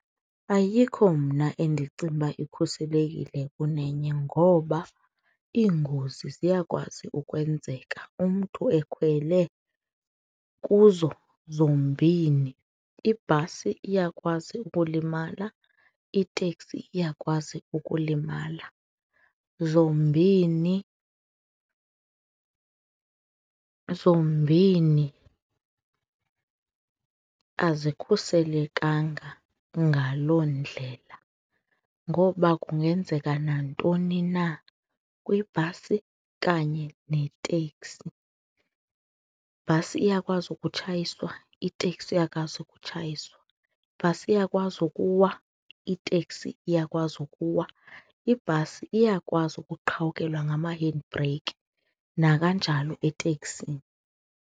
Ayikho mna endicinga ukuba ikhuselekile kunenye ngoba iingozi ziyakwazi ukwenzeka umntu ekhwele kuzo zombini. Ibhasi iyakwazi ukulimala, iteksi iyakwazi ukulimala. Zombini, zombini azikhuselekanga ngaloo ndlela ngoba kungenzeka nantoni na kwibhasi kanye neteksi. Ibhasi iyakwazi ukutshayiswa, itekisi iyakwazi ukutshayiswa. Ibhasi iyakwazi ukuwa, itekisi iyakwazi ukuwa. Ibhasi iyakwazi ukuqhawukelwa ngama-handbrake nakanjalo eteksini.